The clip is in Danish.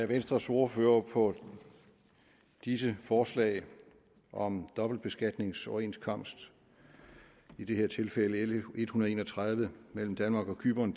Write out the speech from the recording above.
venstres ordfører på disse forslag om dobbeltbeskatningsoverenskomst i det her tilfælde l en hundrede og en og tredive mellem danmark og cypern